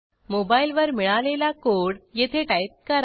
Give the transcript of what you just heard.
मोबाईलवर मिळालेला कोड येथे टाईप करा